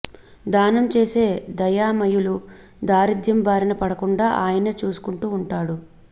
దానం చేసే దయామయులు దారిద్ర్యం బారిన పడకుండా ఆయనే చూసుకుంటూ వుంటాడు